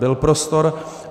Byl prostor.